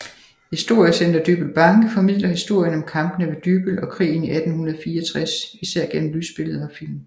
Historiecenter Dybbøl Banke formidler historien om Kampene ved Dybbøl og krigen i 1864 især gennem lysbilleder og film